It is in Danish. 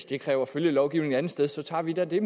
det kræver følgelovgivning et andet sted så tager vi da det